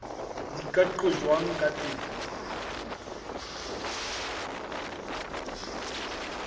di ka qojwang ka teng